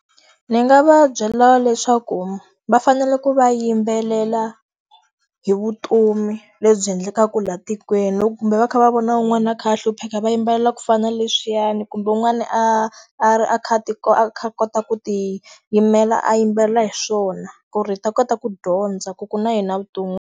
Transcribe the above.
Ndzi nga va byela leswaku va fanele ku va yimbelela hi vutomi lebyi endlekaka laha tikweni. Loko kumbe va kha va vona wun'wana a kha a hlupheka va yimbelela ku fana na leswiyani kumbe un'wani a a ri a kha a ti a kha a kota ku ti yimela a yimbelela hi swona. Ku ri hi ta kota ku dyondza ku ku na yini a vuton'wini.